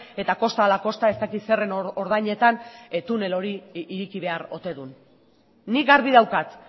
eta kosta ala kosta ez dakit zeren ordainetan tunel hori ireki behar ote dun nik garbi daukat